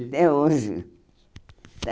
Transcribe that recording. Até hoje.